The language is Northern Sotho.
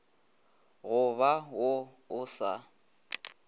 go ba wo o sa